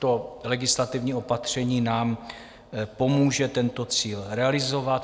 To legislativní opatření nám pomůže tento cíl realizovat.